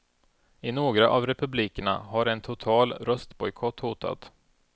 I några av republikerna har en total röstbojkott hotat.